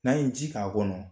N'an ye ji k'a kɔnɔ